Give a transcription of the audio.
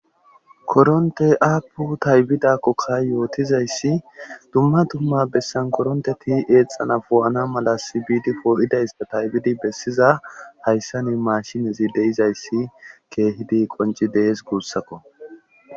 Koronte aapu taybidakkoka yootizayssi dumma dumma bessan koronteti eexxana fo'ana mala sibiidi foo'idaysa taybidi bessiza hayssa ni mashinezi deizayssi keehidi qonci dees guussakko